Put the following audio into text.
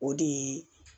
O de ye